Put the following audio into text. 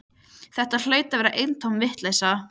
Þetta hlaut að vera eintóm vitleysa.